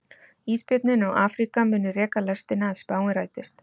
Ísbjörninn og Afríka munu reka lestina ef spáin rætist.